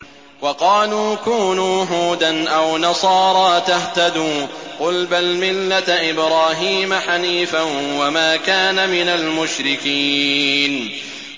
وَقَالُوا كُونُوا هُودًا أَوْ نَصَارَىٰ تَهْتَدُوا ۗ قُلْ بَلْ مِلَّةَ إِبْرَاهِيمَ حَنِيفًا ۖ وَمَا كَانَ مِنَ الْمُشْرِكِينَ